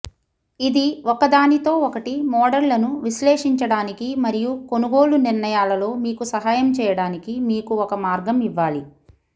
ఇది ఒకదానితో ఒకటి మోడళ్లను విశ్లేషించడానికి మరియు కొనుగోలు నిర్ణయాలలో మీకు సహాయం చేయడానికి మీకు ఒక మార్గం ఇవ్వాలి